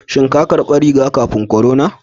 Shin ka karɓi riga-kafin korona?